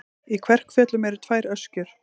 Í Kverkfjöllum eru tvær öskjur.